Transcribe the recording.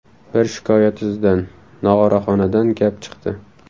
Bir shikoyat izidan: Nog‘oraxonadan gap chiqdi.